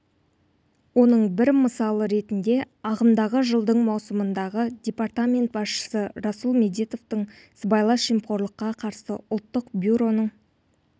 оның бір мысалы ретінде ағымдағы жылдың маусымындағы департамент басшысы расул медетовтің сыбайлас жемқорлыққа қарсы ұлттық бюроның